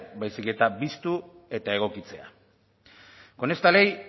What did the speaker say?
baizik eta biztu eta egokitzea con esta ley